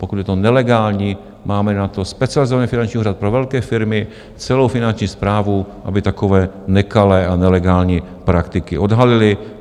Pokud je to nelegální, máme na to Specializovaný finanční úřad pro velké firmy, celou Finanční správu, aby takové nekalé a nelegální praktiky odhalily.